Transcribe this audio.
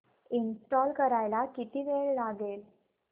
install करायला किती वेळ लागेल